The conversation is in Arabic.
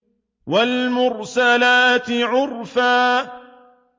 وَالْمُرْسَلَاتِ عُرْفًا